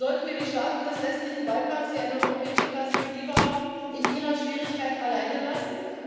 Sollten wir die Staaten des westlichen Balkans, die eine europäische Perspektive haben, in ihrer Schwierigkeit alleine lassen?